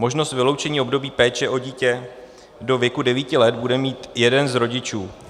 Možnost vyloučení období péče o dítě do věku 9 let bude mít jeden z rodičů.